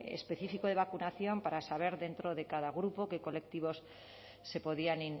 específico de vacunación para saber dentro de cada grupo qué colectivos se podían